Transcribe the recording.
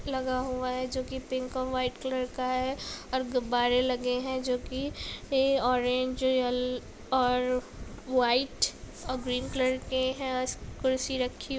लगा हुआ है जो की पिंक और वाइट कलर का है और गुब्बारे लगे है जो कि ऑरेज येल-और व्हाइट और ग्रीन कलर के है और कुर्सी रखी --